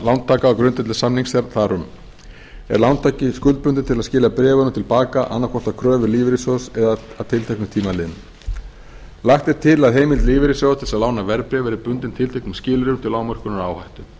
lántaka á grundvelli samnings þar um er lántaki skuldbundinn til að skila bréfunum til baka annað hvort að kröfu lífeyrissjóðs eða að tilteknum tíma liðnum lagt er til að heimild lífeyrissjóða til þess að lána verðbréf verði bundin tilteknum skilyrðum til lágmörkunar áhættu í